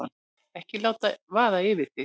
Ekki láta vaða yfir þig.